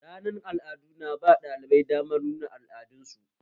Ranar al'adu na ba ɗalibai damar nuna al'adar su